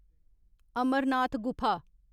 अमर नाथ गुफा